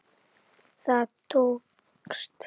Það tókst.